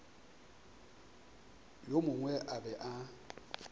yo mongwe a be a